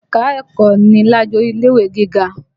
Ẹ̀ka-ẹ̀kọ́ ni lájorí ilé-ìwé gígá